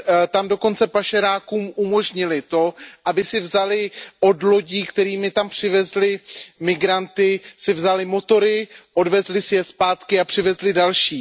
Tam dokonce pašerákům umožnily to, aby si vzali od lodí, kterými tam přivezli migranty, motory, odvezli si je zpátky a přivezli další.